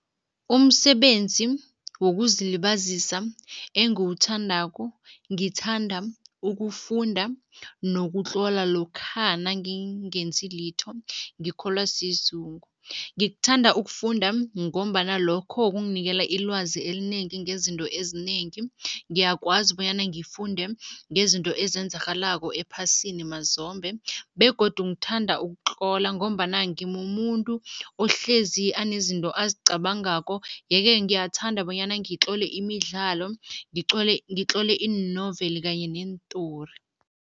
Umsebenzi wokuzilibazisa engiwuthandako, ngithanda ukufunda nokutlola lokha nangingenzi litho, ngikholwa sizungu. Ngikuthanda ukufunda ngombana lokho kunginikela ilwazi elinengi ngezinto ezinengi, ngiyakwazi bonyana ngifunde ngezinto ezenzakalako ephasini mazombe begodu ngithanda ukutlola ngombana ngimumuntu ohlezi anezinto azicabangako yeke ngiyathanda bonyana ngitlole imidlalo, ngitlole iinoveli kanye neentori.